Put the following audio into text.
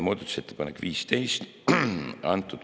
Muudatusettepanek nr 15.